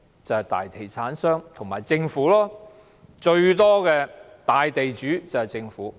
是大地產商和政府，擁有最多土地的大地主是政府。